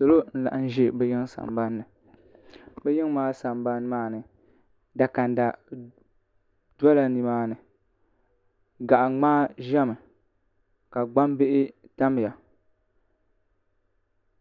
salo n-laɣim ʒɛ bɛ yiŋa sambani ni bɛ yiŋa maa sambani maa ni dakanda dola ni maa ni gaɣ'ŋ́maa ʒɛmi ka gbambihi tamya